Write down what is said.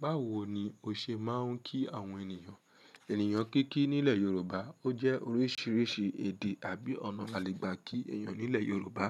Báwo ni o ṣe máa ń kí àwọn ènìyàn? Ènìyàn kíkí nílẹ̀ Yorùbá, ó jẹ́ oríṣiríṣi èdè àbí ọ̀nà àlègbà kí èèyàn nílẹ̀ Yorùbá.